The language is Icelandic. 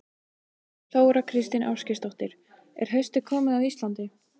Þóra Kristín Ásgeirsdóttir: Er haustið komið á Íslandi?